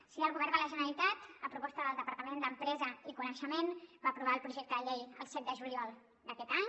així el govern de la generalitat a proposta del departament d’empresa i coneixement va aprovar el projecte de llei el set de juliol d’aquest any